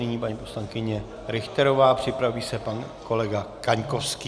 Nyní paní poslankyně Richterová, připraví se pan kolega Kaňkovský.